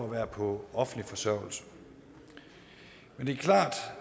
at være på offentlig forsørgelse men det er klart